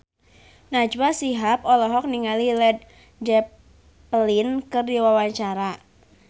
Najwa Shihab olohok ningali Led Zeppelin keur diwawancara